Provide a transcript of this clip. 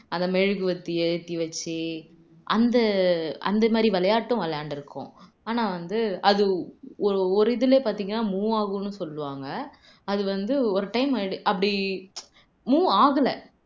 அந்த மெழுகுவர்த்தி ஏத்தி வச்சு அந்த அந்த மாதிரி விளையாட்டும் விளையாண்டுருக்கோம் ஆனா வந்து அது ஒ ஒரு இதுலயே பாத்தீங்கன்னா move ஆகும்னு சொல்லுவாங்க அது வந்து ஒரு time அப்படி move ஆகல